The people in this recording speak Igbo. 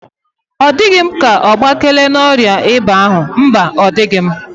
Ọdighi m ka ogbakela n'ọrịa ịba ahu. Mba odighi m.